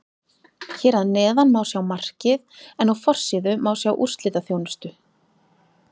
Hér að neðan má sjá markið en á forsíðu má sjá úrslitaþjónustu.